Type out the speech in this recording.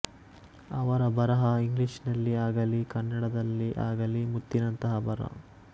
ಅವರ ಬರಹ ಇಂಗ್ಲಿಷಿನಲ್ಲಿ ಆಗಲಿ ಕನ್ನಡದಲ್ಲಿ ಆಗಲಿ ಮುತ್ತಿನಂತಹ ಬರಹ